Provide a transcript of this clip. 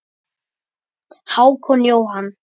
Hákon Jóhann.